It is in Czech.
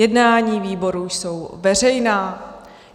Jednání výborů jsou veřejná.